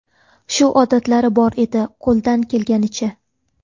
Shu odatlari bor edi, qo‘ldan kelganicha.